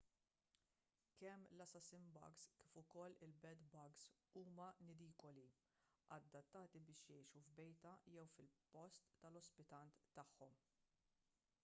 kemm l-assassin-bugs kif ukoll il-bed-bugs huma nidikoli adattati biex jgħixu f'bejta jew fil-post tal-ospitant tagħhom